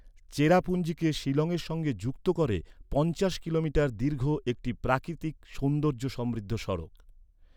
চেরাপুঞ্জিকে শিলংয়ের সঙ্গে যুক্ত করে পঞ্চাশ কিলোমিটার দীর্ঘ একটি প্রাকৃতিক সৌন্দর্য সমৃদ্ধ সড়ক।